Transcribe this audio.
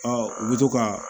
u bɛ to ka